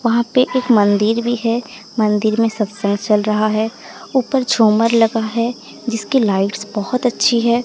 वहां पे एक मंदिर भी है मंदिर में सत्संग चल रहा है ऊपर झूमर लगा है जिसकी लाइट्स बहोत अच्छी है।